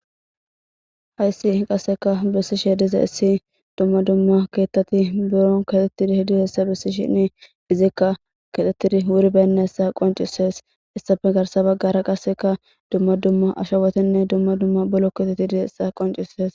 hayssi qasseka bissishe dize issi dumma dumma keettati buron katettidi hidi hessa bissi shini izikka ketettidi wuri beynnessa qoncisees issafe garsa baggara qasseka dumma dumma ashawetinne dumma dumma bolo keeteti dizeessa qoncises